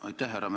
Aitäh!